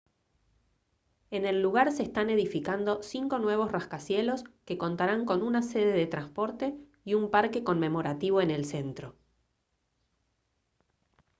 en el lugar se están edificando cinco nuevos rascacielos que contarán con una sede de transporte y un parque conmemorativo en el centro